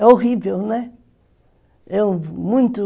É horrível, né? muito